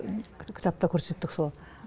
кітапта көрсеттік сол